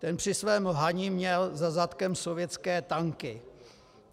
Ten při svém lhaní měl za zadkem sovětské tanky.